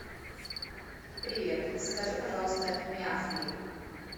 привет закажи пожалуйста мяфли